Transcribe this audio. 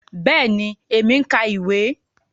Bẹẹni, èmi n ka ìwé.